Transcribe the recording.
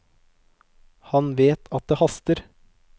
Han vet at det haster.